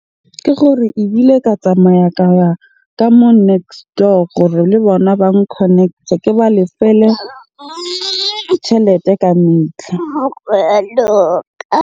Ke gore ebile ka tsamaya ka ya ka moo next door gore le bona bang connect-e. Ke ba lefele tjhelete ka .